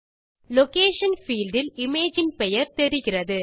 location field இல் இமேஜின் பெயர் தெரிகிறது